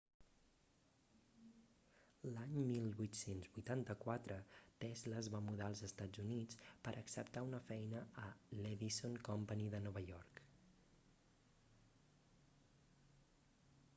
l'any 1884 tesla es va mudar als estats units per acceptar una feina a l'edison company de nova york